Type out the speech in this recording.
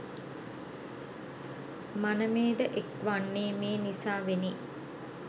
මනමේ ද එක් වන්නේ මේ නිසාවෙනි.